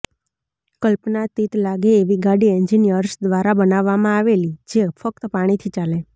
કલ્પનાતીત લાગે એવી ગાડી એન્જિનિયર્સ દ્વારા બનાવવામાં આવેલી જે ફ્ક્ત પાણીથી ચાલે